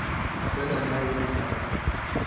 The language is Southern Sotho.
feela leha ho le jwalo